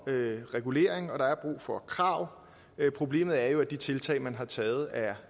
regulering og der er brug for krav problemet er jo at de tiltag man har taget er